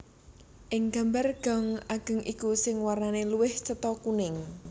Ing gambar gong ageng iku sing warnane luwih cetha kuning